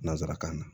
Nanzarakan na